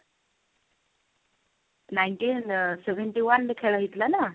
nineteen ଅ seventy one ରେ ଖେଳ ହେଇଥିଲା ନା